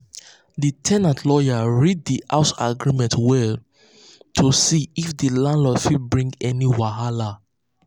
the ten ant lawyer read the house agreement well to see um if um landlord fit bring any wahala.